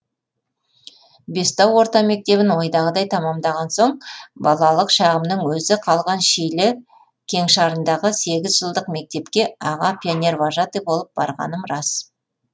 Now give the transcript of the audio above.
бестау орта мектебін ойдағыдай тамамдаған соң балалық шағымның өзі қалған шилі кеңшарындағы сегіз жылдық мектепке аға пионер вожатый болып барғаным рас